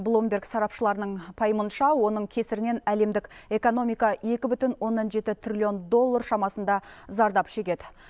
блумберг сарапшыларының пайымынша оның кесірінен әлемдік экономика екі бүтін оннан жеті триллион доллар шамасында зардап шегеді